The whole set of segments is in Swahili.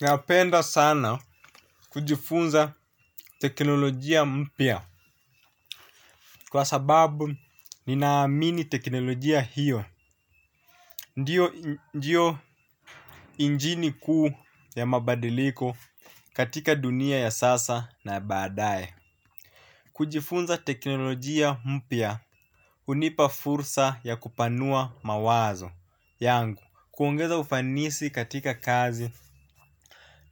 Napenda sana kujifunza teknolojia mpya kwa sababu ninaamini teknolojia hiyo. Ndiyo injini kuu ya mabadiliko katika dunia ya sasa na baadaye kujifunza teknolojia mpya hunipa fursa ya kupanua mawazo yangu kuongeza ufanisi katika kazi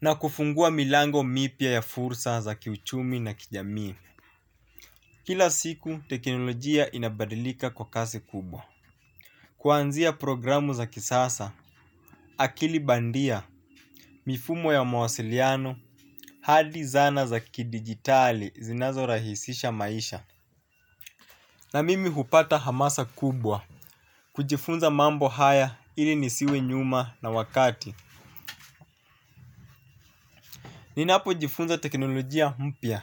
na kufungua milango mipya ya fursa za kiuchumi na kijamii. Kila siku, teknolojia inabadilika kwa kasi kubwa. Kuanzia programu za kisasa, akili bandia, mifumo ya mawasiliano, hadi zana za kidijitali zinazorahisisha maisha. Na mimi hupata hamasa kubwa, kujifunza mambo haya ili nisiwe nyuma na wakati. Ninapojifunza teknolojia mpya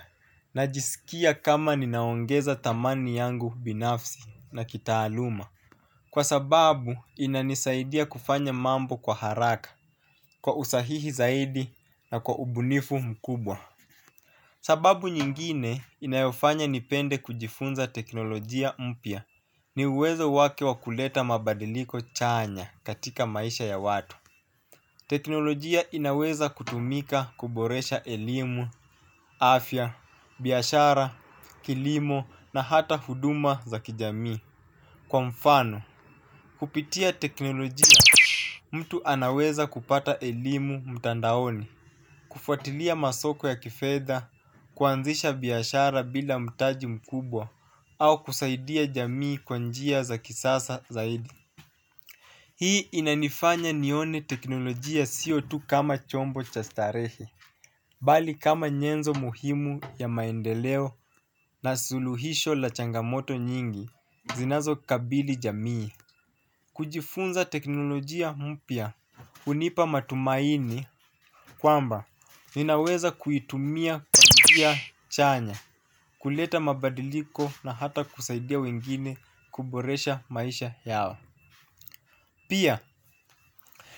najisikia kama ninaongeza thamani yangu binafsi na kitaaluma. Kwa sababu inanisaidia kufanya mambo kwa haraka, kwa usahihi zaidi na kwa ubunifu mkubwa. Sababu nyingine inayofanya nipende kujifunza teknolojia mpya ni uwezo wake wa kuleta mabadiliko chanya katika maisha ya watu. Teknolojia inaweza kutumika kuboresha elimu, afya, biashara, kilimo na hata huduma za kijamii. Kwa mfano, kupitia teknolojia mtu anaweza kupata elimu mtandaoni. Kufuatilia masoko ya kifedha, kuanzisha biashara bila mtaji mkubwa au kusaidia jamii kwa njia za kisasa zaidi. Hii inanifanya nione teknolojia sio tu kama chombo cha starehe bali kama nyenzo muhimu ya maendeleo na suluhisho la changamoto nyingi zinazokabili jamii. Kujifunza teknolojia mpya hunipa matumaini kwamba ninaweza kuitumia kwa njia chanya kuleta mabadiliko na hata kusaidia wengine kuboresha maisha yao. Pia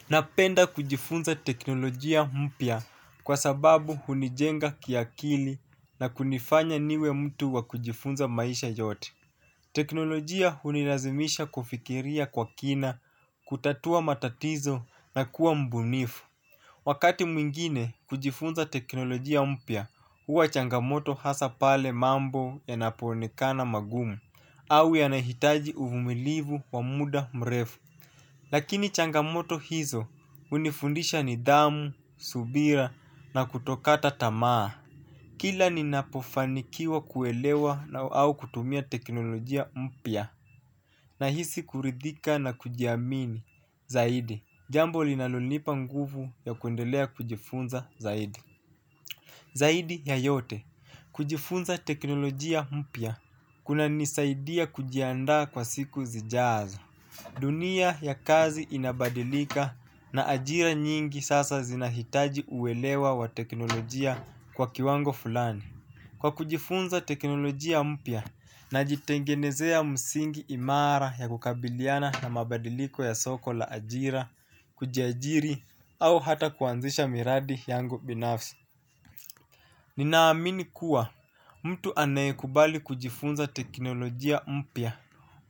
napenda kujifunza teknolojia mpya kwa sababu hunijenga kiakili na kunifanya niwe mtu wa kujifunza maisha yote. Teknolojia hunirazimisha kufikiria kwa kina, kutatua matatizo na kuwa mbunifu. Wakati mwingine kujifunza teknolojia mpya huwa changamoto hasa pale mambo yanapoonekana magumu au yanahitaji uvumilivu wa muda mrefu. Lakini changamoto hizo hunifundisha nidhamu, subira na kutokata tamaa. Kila ninapofanikiwa kuelewa na au kutumia teknolojia mpya nahisi kuridhika na kujiamini zaidi. Jambo linalonipa nguvu ya kuendelea kujifunza zaidi. Zaidi ya yote, kujifunza teknolojia mpya kunanisaidia kujiandaa kwa siku zijazo. Dunia ya kazi inabadilika na ajira nyingi sasa zinahitaji uelewa wa teknolojia kwa kiwango fulani. Kwa kujifunza teknolojia mpya najitengenezea msingi imara ya kukabiliana na mabadiliko ya soko la ajira, kujiajiri au hata kuanzisha miradi yangu binafsi. Ninaamini kuwa mtu anayekubali kujifunza teknolojia mpya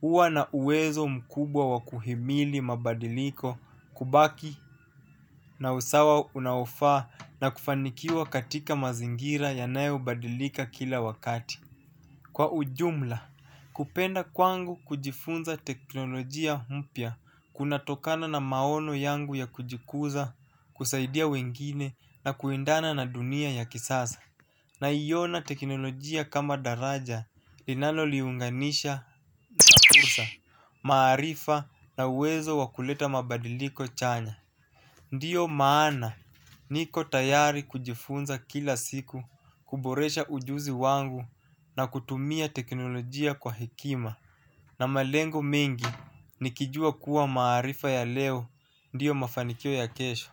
huwa na uwezo mkubwa wa kuhimili mabadiliko kubaki na usawa unaofaa na kufanikiwa katika mazingira yanayobadilika kila wakati. Kwa ujumla, kupenda kwangu kujifunza teknolojia mpya kunatokana na maono yangu ya kujikuza kusaidia wengine na kuendana na dunia ya kisasa. Naiona teknolojia kama daraja linaloliunganisha fursa maarifa na wezo wa kuleta mabadiliko chanya. Ndio maana niko tayari kujifunza kila siku kuboresha ujuzi wangu na kutumia teknolojia kwa hekima na malengo mengi nikijua kuwa maarifa ya leo ndio mafanikio ya kesho.